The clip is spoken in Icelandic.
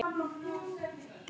Ert þetta þú, Kalli minn!